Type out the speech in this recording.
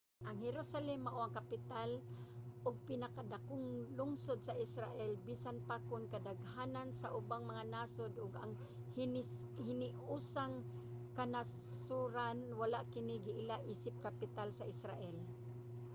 ang jerusalem mao ang kapital ug pinakadakong lungsod sa israel bisan pa kon kadaghanan sa ubang mga nasod ug ang hiniusang kanasoran wala kini giila isip kapital sa israel